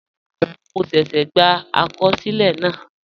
Mo ṣẹ́ṣẹ́ gbà àkọsílẹ̀ náà